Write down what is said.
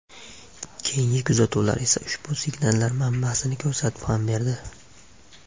Keyingi kuzatuvlar esa ushbu signallar manbasini ko‘rsatib ham berdi.